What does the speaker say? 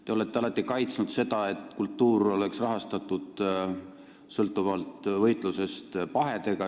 Te olete alati kaitsnud seda mõtet, et kultuuri rahastamine sõltuks võitlusest pahedega.